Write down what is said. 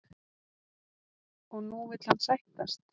Og nú vill hann sættast?